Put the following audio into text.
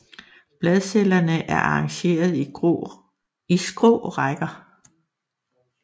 Bladcellerne er arrangeret i skrå rækker